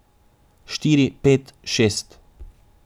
Štiri, pet, šest.